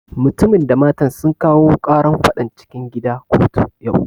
Mutumin da matan sun kawo ƙaran faɗan cikin gida kotu yau